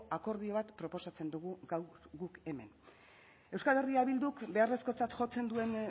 akordio bat proposatzen dugu gaur guk hemen eh bilduk beharrezkotzat jotzen duen